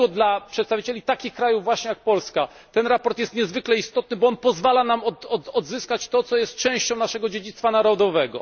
Dlatego dla przedstawicieli takich krajów właśnie jak Polska to sprawozdanie jest niezwykle istotne, bo pozwala nam odzyskać to, co jest częścią naszego dziedzictwa narodowego.